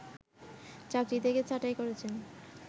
চাকরি থেকে ছাঁটাই করেছেন